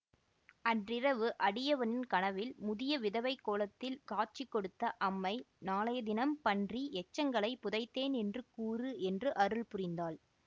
அன்றிரவு அடியவனின் கனவில் முதிய விதவைக் கோலத்தில் காட்சி கொடுத்த அம்மை நாளைய தினம் பன்றி எச்சங்களை புதைத்தேன் என்று கூறு என்று அருள்புரிந்தாள்